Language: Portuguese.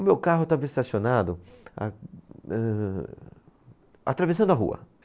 O meu carro estava estacionado, a, âh atravessando a rua.